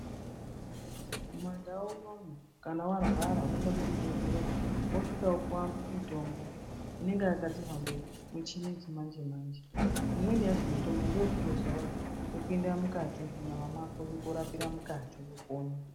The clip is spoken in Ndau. Mundau mwedu munomu kana munthu arwara unoenda kuchibhehleya worapwa ,wopuwa mitombo imweni yacho inenge iri yekuzora yechipinda munyama mwako.